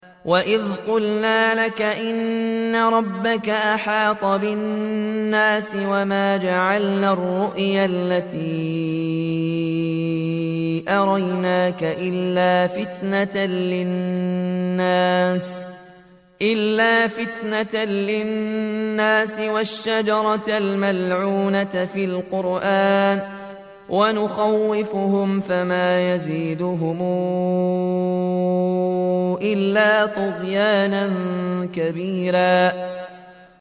وَإِذْ قُلْنَا لَكَ إِنَّ رَبَّكَ أَحَاطَ بِالنَّاسِ ۚ وَمَا جَعَلْنَا الرُّؤْيَا الَّتِي أَرَيْنَاكَ إِلَّا فِتْنَةً لِّلنَّاسِ وَالشَّجَرَةَ الْمَلْعُونَةَ فِي الْقُرْآنِ ۚ وَنُخَوِّفُهُمْ فَمَا يَزِيدُهُمْ إِلَّا طُغْيَانًا كَبِيرًا